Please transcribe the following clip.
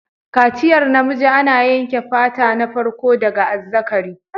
Kaciyar namiji ana yanke fata na farko daga azzakari.